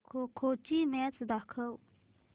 खो खो ची मॅच दाखव